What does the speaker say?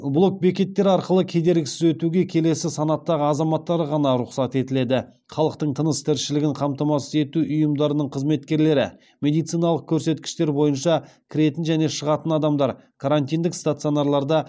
блок бекеттер арқылы кедергісіз өтуге келесі санаттағы азаматтарға ғана рұқсат етіледі халықтың тыныс тіршілігін қамтамасыз ету ұйымдарының қызметкерлері медициналық көрсеткіштер бойынша кіретін және шығатын адамдар карантиндік стационарларда